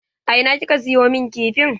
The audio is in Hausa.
A ina kika siyo min kifin?